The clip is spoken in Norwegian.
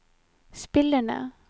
spillerne